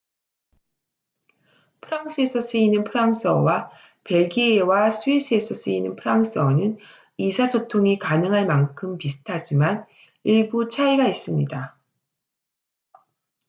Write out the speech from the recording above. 프랑스에서 쓰이는 프랑스어와 벨기에와 스위스에서 쓰이는 프랑스어는 의사소통이 가능할 만큼 비슷하지만 일부 차이가 있습니다